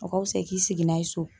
O ka wusa i k'i sigi n'a ye so.